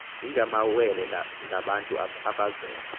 ingamawele ngabantu abazelwe